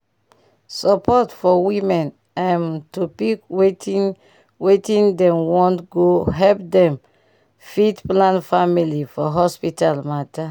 support for women um to pick wetin wetin dem want go help dem fit plan family for hospital matter